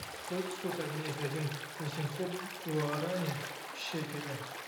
сколько стоит обменять один восемьсот гуарани в шекели